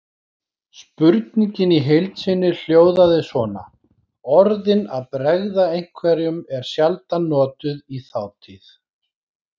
Spurningin í heild sinni hljóðaði svona: Orðin að bregða einhverjum eru sjaldan notuð í þátíð.